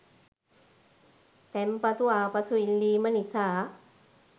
තැන්පතු ආපසු ඉල්ලීම නිසා